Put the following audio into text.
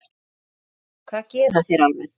Hvað gera þeir almennt?